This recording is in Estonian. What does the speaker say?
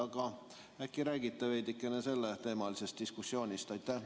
Aga äkki räägite veidikene selleteemalisest diskussioonist?